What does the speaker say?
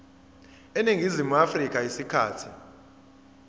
eningizimu afrika isikhathi